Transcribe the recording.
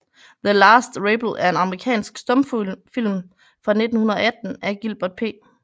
The Last Rebel er en amerikansk stumfilm fra 1918 af Gilbert P